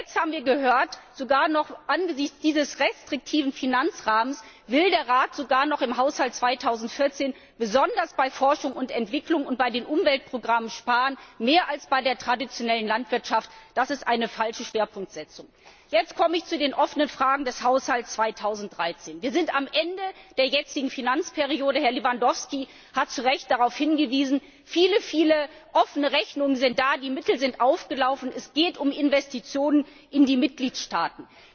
Jetzt haben wir gehört, dass der Rat selbst angesichts dieses restriktiven Finanzrahmens sogar noch im Haushalt 2014 besonders bei Forschung und Entwicklung und bei den Umweltprogrammen sparen will, und zwar mehr als bei der traditionellen Landwirtschaft das ist eine falsche Schwerpunktsetzung! Jetzt komme ich zu den offenen Fragen in Bezug auf den Haushalt 2013. Wir sind am Ende der jetzigen Finanzperiode. Herr Lewandowski hat zu Recht darauf hingewiesen. Viele, viele offene Rechnungen sind da, die Mittel sind aufgelaufen, es geht um Investitionen in die Mitgliedstaaten.